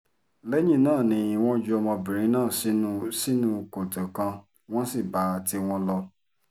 lẹ́yìn náà ni wọ́n ju ọmọbìnrin náà sínú sínú kòtò kan wọ́n sì bá tiwọn lọ